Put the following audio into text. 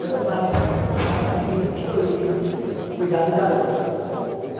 Eu tomava banho quatro dias que eu ia cuidar do garoto.